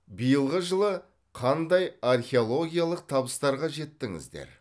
биылғы жылы қандай археологиялық табыстарға жеттіңіздер